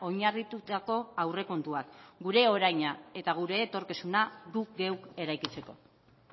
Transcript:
oinarritutako aurrekontuak gure oraina eta gure etorkizuna guk geuk eraikitzeko